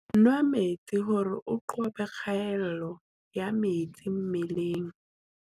Nwaa metsi hore o qobe kgaello ya metsi mmeleng.